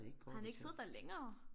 Har han ikke siddet der længere